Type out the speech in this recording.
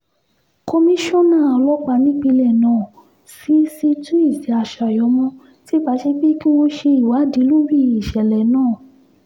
komisanna ọlọ́pàá nípìnlẹ̀ náà cc tuesday assayọ̀mọ́ ti pàṣẹ pé kí wọ́n ṣe ìwádìí lórí ìṣẹ̀lẹ̀ náà